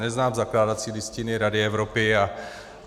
Neznám zakládací listiny Rady Evropy.